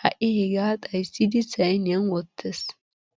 ha'i hegaa xayissidi sayiniyan wottes.